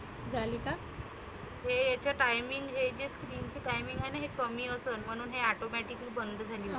झाली का? हे याच timing हे जे screen चं timing आहेना हे कमी असनं म्हणुन हे automatic बंद झाली.